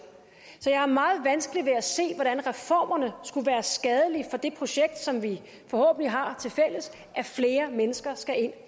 så jeg har meget vanskeligt ved at se hvordan reformerne skulle være skadelige for det projekt som vi forhåbentlig har tilfælles at flere mennesker skal